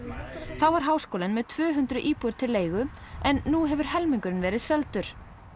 þá var háskólinn með tvö hundruð íbúðir til leigu en nú hefur helmingurinn verið seldur